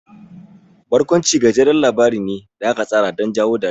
Barkwanci gajeren labari ne da aka tsara don jawo dariya.